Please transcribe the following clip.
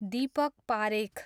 Deepak Parekh